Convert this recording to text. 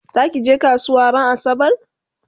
zakije kasuwa ran asabar?